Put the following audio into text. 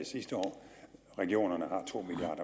sidste år regionerne har to milliard